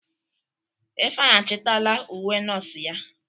Ifeanyi achitala uwe nọọsụ ya.